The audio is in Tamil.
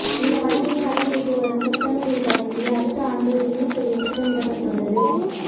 இந்த படத்தின் படப்பிடிப்பு வரும் செப்டம்பரில் தொடங்கி அடுத்த ஆண்டு ரிலீஸ் செய்ய திட்டமிடப்பட்டுள்ளது